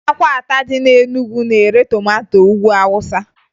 Ahịa akwata dị na Enugu na-ere tomato Ugwu Awụsa